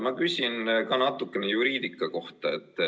Ma küsin ka natukene juriidika kohta.